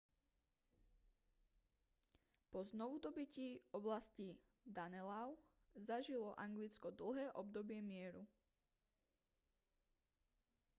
po znovudobytí oblasti danelaw zažilo anglicko dlhé obdobie mieru